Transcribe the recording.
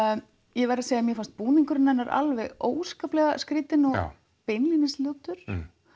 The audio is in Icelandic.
ég verð að segja að mér fannst búningurinn hennar alveg ótrúlega skrýtinn beinlínis ljótur